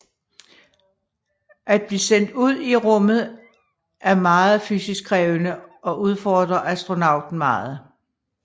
At blive sendt ud i rummet er meget fysisk krævende og udfordrer astronauten meget